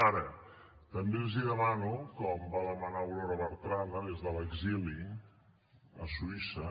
ara també els demano com va demanar aurora bertrana des de l’exili a suïssa